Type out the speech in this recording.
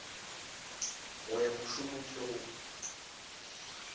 go ya mošomong le go